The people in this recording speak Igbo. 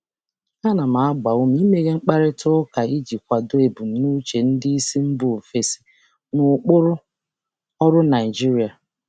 um Ana um m akwado mkparịta ụka mepere emepe um iji jikọta ebumnuche ndị oga si mba ọzọ na ụkpụrụ ọrụ Naịjirịa.